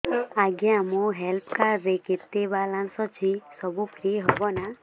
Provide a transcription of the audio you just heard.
ଆଜ୍ଞା ମୋ health card ରେ କେତେ ବାଲାନ୍ସ ଅଛି ସବୁ ଫ୍ରି ହବ ନାଁ